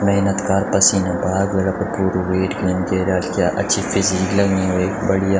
मेहनत कार पसीना बहाक वेल अपर पुरु वेट गेन कैर्याल क्या अच्छी फिजीक लगणी वेक बढ़िया।